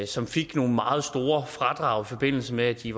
som fik nogle meget store fradrag i forbindelse med at de